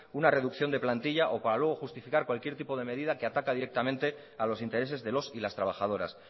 una reducción de plantilla o para luego justificar cualquier tipo de medida que ataca directamente a los intereses de los y las trabajadoras